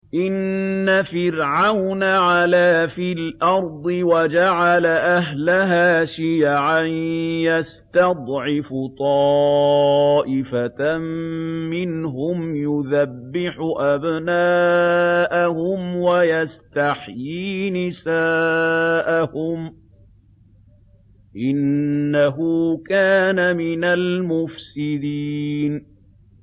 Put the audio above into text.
إِنَّ فِرْعَوْنَ عَلَا فِي الْأَرْضِ وَجَعَلَ أَهْلَهَا شِيَعًا يَسْتَضْعِفُ طَائِفَةً مِّنْهُمْ يُذَبِّحُ أَبْنَاءَهُمْ وَيَسْتَحْيِي نِسَاءَهُمْ ۚ إِنَّهُ كَانَ مِنَ الْمُفْسِدِينَ